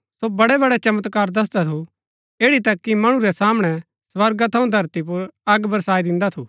सो बड़ेबड़े चमत्कार दसदा थू ऐड़ी तक कि मणु रै सामणै स्वर्गा थऊँ धरती पुर अग बरसाई दिन्दा थू